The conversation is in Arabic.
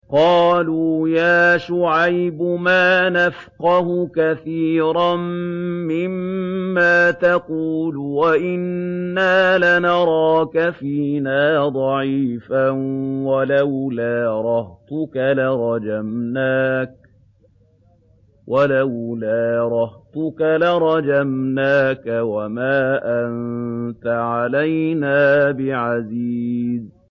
قَالُوا يَا شُعَيْبُ مَا نَفْقَهُ كَثِيرًا مِّمَّا تَقُولُ وَإِنَّا لَنَرَاكَ فِينَا ضَعِيفًا ۖ وَلَوْلَا رَهْطُكَ لَرَجَمْنَاكَ ۖ وَمَا أَنتَ عَلَيْنَا بِعَزِيزٍ